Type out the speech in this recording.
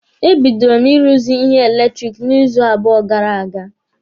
E bidoro m ị ruzi ihe eletiriki n'izu abụọ gara aga.